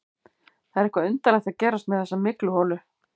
Það er eitthvað undarlegt að gerast með þessa mygluholu.